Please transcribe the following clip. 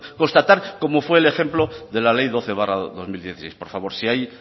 constatar como fue el ejemplo de la ley doce barra dos mil dieciséis por favor si hay